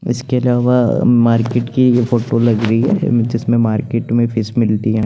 इसके अलावा मार्किट की फोटो लगी हुई है जिसमे मार्किट में फिश मिलती है।